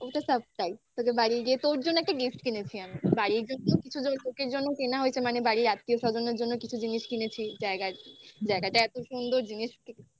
ওটা সবটাই তোকে বাড়ি গিয়ে তোর জন্য একটা gift কিনেছি আমি বাড়ির জন্য কিছু জন লোকজনের জন্যে কেনা হয়েছে মানে বাড়ির আত্মীয়-স্বজনের জন্য কিছু জিনিস কিনেছি জায়গার জায়গায় জায়গাটা এত সুন্দর জিনিস